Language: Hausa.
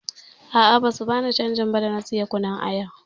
A'a, basu bani canji ba da na saya kunun aya.